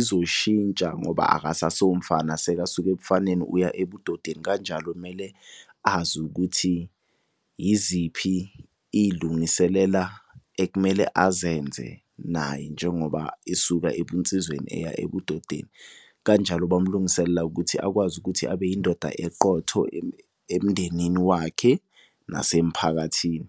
izoshintsa ngoba akasaso umfana, seka suke ebufaneni uya ebudodeni. Kanjalo kumele azi ukuthi yiziphi iy'lungiselela ekumele azenze naye njengoba esuka ebunsizweni eya ebudodeni. Kanjalo bamlungisela ukuthi akwazi ukuthi abe yindoda eqotho emndenini wakhe nasemphakathini.